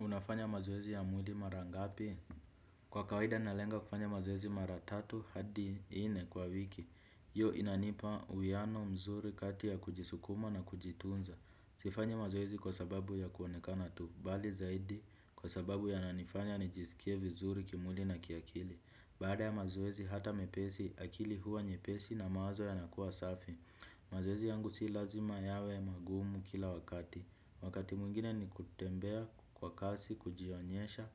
Unafanya mazoezi ya mwili mara ngapi? Kwa kawaida nalenga kufanya mazoezi mara tatu hadi nne kwa wiki. Hio inanipa uwiano mzuri kati ya kujisukuma na kujitunza. Sifanyi mazoezi kwa sababu ya kuonekana tu. Bali zaidi kwa sababu yananifanya nijisikie vizuri kimwili na kiakili. Baada ya mazoezi hata mepesi akili huwa nyepesi na mawazo yanakuwa safi. Mazoezi yangu si lazima yawe magumu kila wakati. Wakati mwingine ni kutembea kwa kasi, kujionyesha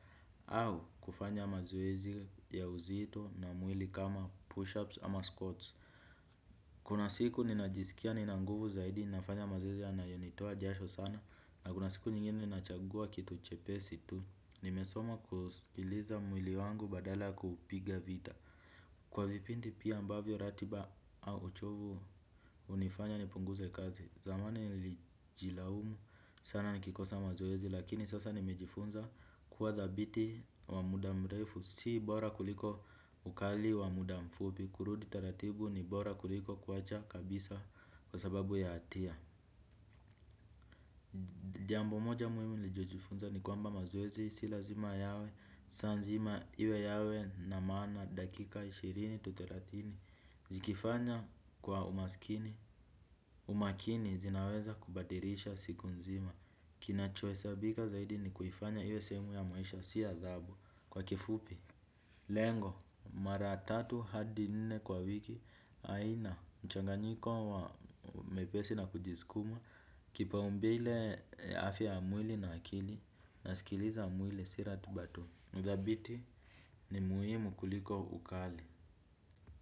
au kufanya mazoezi ya uzito na mwili kama push-ups ama squats. Kuna siku ninajisikia nina nguvu zaidi nafanya mazoezi yanayonitoa jasho sana. Na kuna siku nyingine ninachagua kitu chepesi tu. Nimesoma kusikiliza mwili wangu badala kupiga vita. Kwa vipindi pia ambavyo ratiba au uchovu hunifanya nipunguze kazi. Zamani nilijilaumu sana nikikosa mazoezi lakini sasa nimejifunza kuwa dhabiti wa muda mrefu si bora kuliko ukali wa muda mfupi kurudi taratibu ni bora kuliko kuwacha kabisa kwa sababu ya hatia. Jambo moja muhimu niliojifunza ni kwamba mazoezi si lazima yawe saa nzima iwe yawe na maana dakika ishirini-thelathini zikifanya kwa umaskini umakini zinaweza kubadilisha siku nzima. Kinacho hesabika zaidi ni kuifanya iwe sehemu ya maisha si adhabu kwa kifupi. Lengo mara tatu hadi nne kwa wiki haina mchanganyiko wa mepesi na kujiskuma. Kipaumbele ya afya ya mwili na akili nasikiliza mwili si ratiba tu ni dhabiti ni muhimu kuliko ukali.